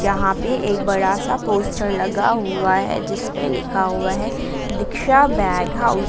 यहां पर एक बड़ा सा पोस्टर लगा हुआ है जिसपे लिखा हुआ है दीक्षा बैग हाउस ।